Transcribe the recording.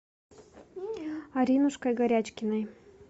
аринушкой горячкиной